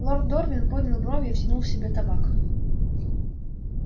лорд дорвин поднял брови и втянул в себя табак